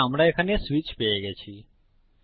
তাহলে আমরা এখানে সুইচ পেয়ে গেছি